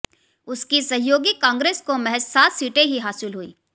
उसकी सहयोगी कांग्रेस को महज सात सीटें ही हासिल हुईं